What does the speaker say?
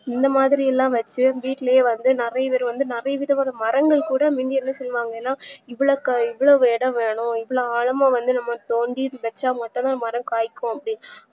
இந்தமாறிலாம் வச்சு வீட்லயே வந்து நறையபேர் நறைய விதமான மரங்கள் கூட முந்தி என்ன சொல்லுவாங்கன்னா இவ்ளோ இவ்ளோ எடம் வேணும் இவ்ளோ ஆழமா வந்து நம்ம தோண்டி வச்சாதான் மரம் காய்க்கும்